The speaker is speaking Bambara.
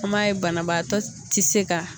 An b' a ye banabaatɔ tɛ se ka.